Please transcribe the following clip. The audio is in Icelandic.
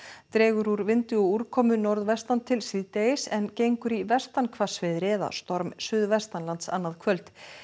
dregur úr vindi og úrkomu norðvestan til síðdegis en gengur í vestan hvassviðri eða storm suðvestanlands annað kvöld